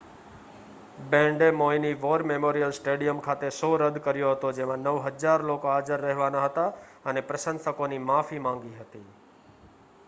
બેન્ડે મૌઈની war memorial stadium ખાતે show રદ કર્યો હતો જેમાં 9,000 લોકો હાજર રહેવાના હતા અને પ્રશંસકોની માફી માંગી હતી